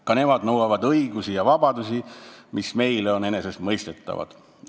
Ka nemad nõuavad õigusi ja vabadusi, mis meile on enesestmõistetavad.